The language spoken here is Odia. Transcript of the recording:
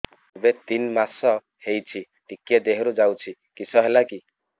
ଏବେ ତିନ୍ ମାସ ହେଇଛି ଟିକିଏ ଦିହରୁ ଯାଉଛି କିଶ ହେଲାକି